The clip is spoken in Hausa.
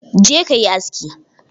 Je kayi aski!